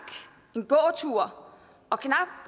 en gåtur og knap